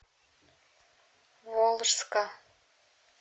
волжска